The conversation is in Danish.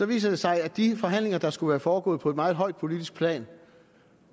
viser det sig at de forhandlinger der skulle være foregået på et meget højt politisk plan